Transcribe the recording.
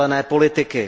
zelené politiky.